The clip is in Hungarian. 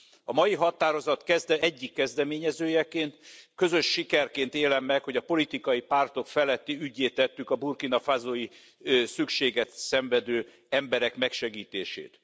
A mai határozat egyik kezdeményezőjeként közös sikerként élem meg, hogy a politikai pártok feletti üggyé tettük a Burkina Fasó i szükséget szenvedő emberek megsegítését.